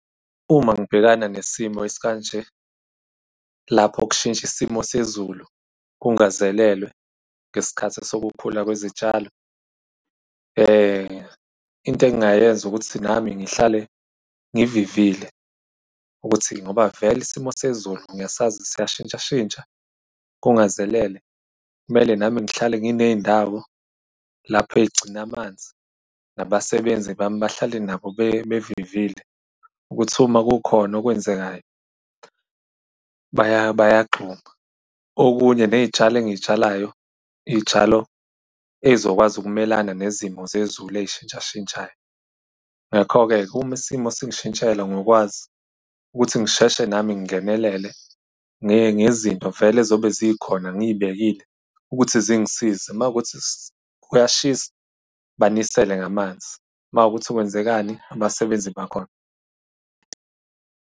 Uma ngibhekana nesimo esikanje lapho kushintsha isimo sezulu kungazelelwe ngesikhathi sokukhula kwezitshalo, into engingayenza ukuthi nami ngihlale ngivivile ukuthi ngoba vele isimo sezulu ngiyasazi siyashintshashintsha kungazelele, kumele nami ngihlale nginey'ndawo lapho ey'gcine amanzi nabasebenzi bahlale nabo bevivile ukuthi uma kukhona okwenzekayo bayagxuma. Okunye, ney'tshalo engiy'tshalayo iy'tshalo ezizokwazi ukumelana nezimo zezulu ey'shintshashintshayo. Ngakho-ke, uma isimo singishintshela ngokwazi ukuthi ngisheshe nami ngingenelele ngezinto vele ezobe zikhona ngiy'bekile ukuthi zingisize. Mawukuthi kuyashisa, banisele ngamanzi. Mawukuthi kwenzekani, abasebenzi bakhona.